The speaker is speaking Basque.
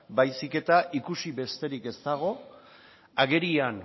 baizik eta ikusi besterik ez dago agerian